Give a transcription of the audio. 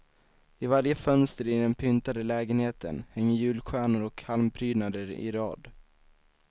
I varje fönster i den pyntade lägenheten hänger julstjärnor och halmprydnader i rad.